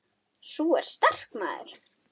Sú er sterk, maður!